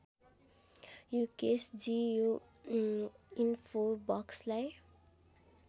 युकेशजी यो ईन्फोबक्सलाई